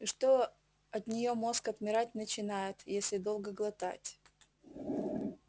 и что от неё мозг отмирать начинает если долго глотать